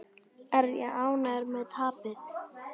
Er ég ánægður með tapið?